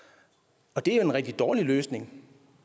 og det er jo en rigtig dårlig løsning